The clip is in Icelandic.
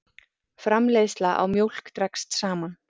Framleiðsla á mjólk dregst saman